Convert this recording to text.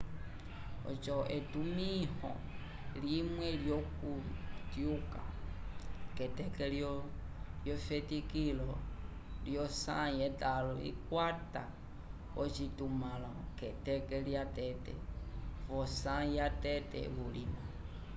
oco etumĩho limwe lyokutyuka k'eteke lyosi lyefetikilo v'osãyi yetãlo ikakwata ocitumãlo k'eteke lyatete v'osãyi yatete vulima